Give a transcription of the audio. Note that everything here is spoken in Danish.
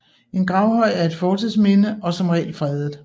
En gravhøj er et fortidsminde og som regel fredet